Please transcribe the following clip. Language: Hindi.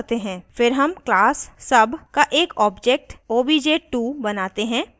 फिर हम class sub का एक object obj2 बनाते हैं